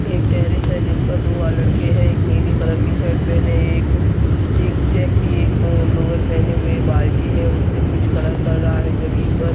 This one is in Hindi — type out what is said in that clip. एक टेरेस है जिसपर दो आ लड़के है एक नीली कलर की शर्ट पहने है एक चीक चैक एक अ लोअर पहने हुए बाल्टी है उससे कुछ कलर कर रहा है जमीन पर।